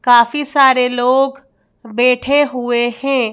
काफी सारे लोग बैठे हुए हैं।